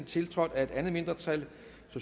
tiltrådt af et mindretal